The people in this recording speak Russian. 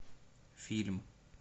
фильм